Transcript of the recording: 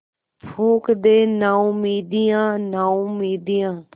फूँक दे नाउमीदियाँ नाउमीदियाँ